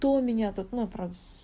то меня тут ну про с